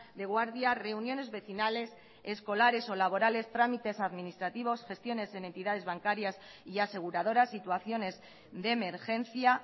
de guardia reuniones vecinales escolares o laborales trámites administrativos gestiones en entidades bancarias y aseguradoras situaciones de emergencia